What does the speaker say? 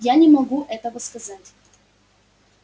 я не могу этого сказать